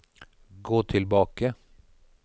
gå tilbake